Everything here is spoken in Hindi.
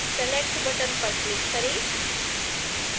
select बटन पर क्लिक करें